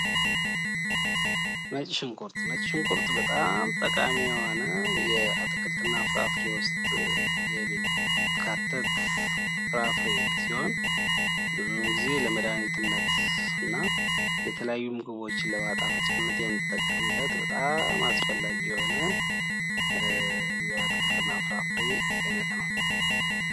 ነጭ ሽንኩርት፡ ነጭ ሽንኩርት በጣም ጠቃሚ የሆነ ከአትክልትና ፍራፍሬ የሚካተት ሲሆን ፤ ብዙውን ጊዜ ለመድሃኒትነት እና የተለያዩ ምግቦችን ለማጣፈጥ የምንጠቀምበት፣ አስፈላጊ የሆነ የአትክልትና ፍራፍሬ አይነት ነው።